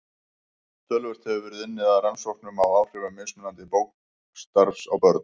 Töluvert hefur verið unnið að rannsóknum á áhrifum mismunandi leikskólastarfs á börn.